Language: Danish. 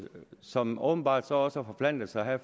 som åbenbart også har forplantet sig her